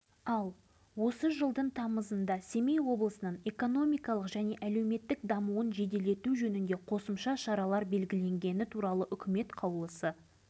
май ауданы тұрғындарының қасіреті ешкімді ойландырмауы қалай қазір мұндағы мыңнан астам жергілікті тұрғындардың әрқайсысы жазылмас